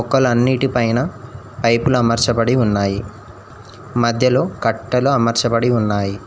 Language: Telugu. మొక్కలన్నిటి పైన పైపుల అమర్చబడి ఉన్నాయి మధ్యలో కట్టల అమర్చబడి ఉన్నాయి.